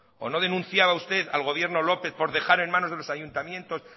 o no denunciaba usted al gobierno lópez por dejar en manos de los ayuntamientos